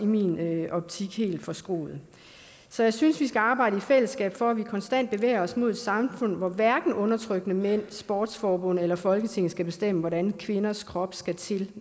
min optik også helt forskruet så jeg synes vi skal arbejde i fællesskab for at vi konstant bevæger os mod et samfund hvor hverken undertrykkende mænd sportsforbund eller folketinget skal bestemme hvordan kvinders krop skal til